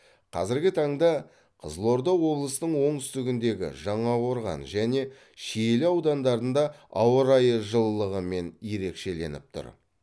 қазіргі таңда қызылорда облысының оңтүстігіндегі жаңақорған және шиелі аудандарында ауа райы жылылығымен ерекшеленіп тұр